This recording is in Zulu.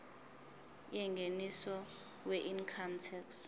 yengeniso weincome tax